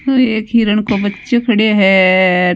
यो एक हिरण को बच्चो खड़ो हैं।